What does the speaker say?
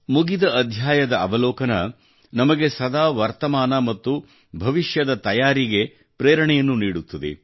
ಮುಗಿದ ಅಧ್ಯಾಯದ ಅವಲೋಕನ ನಮಗೆ ಸದಾ ವರ್ತಮಾನ ಮತ್ತು ಭವಿಷ್ಯದ ತಯಾರಿಗೆ ಪ್ರೇರಣೆಯನ್ನು ನೀಡುತ್ತದೆ